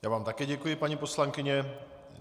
Já vám také děkuji, paní poslankyně.